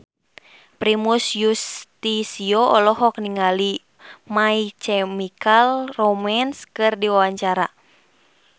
Primus Yustisio olohok ningali My Chemical Romance keur diwawancara